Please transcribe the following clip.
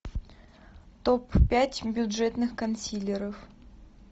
топ пять бюджетных консилеров